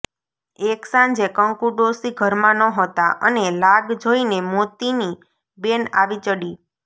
એક સાંજે કંકુ ડોસી ઘરમાં નહોતાં અને લાગ જોઈને મોતીની બેન આવી ચડી